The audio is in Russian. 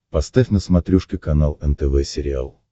поставь на смотрешке канал нтв сериал